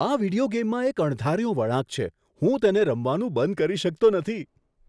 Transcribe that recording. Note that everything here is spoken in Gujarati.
આ વિડિયો ગેમમાં એક અણધાર્યો વળાંક છે. હું તેને રમવાનું બંધ કરી શકતો નથી!